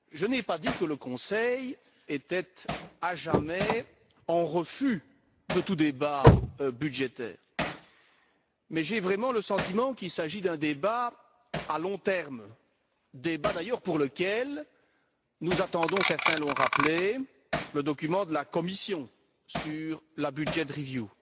Je n'ai pas dit que le Conseil voulait, à jamais, refuser tout débat budgétaire, mais j'ai vraiment le sentiment qu'il s'agit d'un débat à long terme, pour lequel nous attendons certains l'ont rappelé le document de la Commission sur la budget review